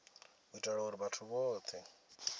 u itela uri vhathu vhothe